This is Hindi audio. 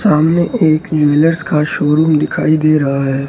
सामने एक ज्वेलर्स का शोरूम दिखाई दे रहा है।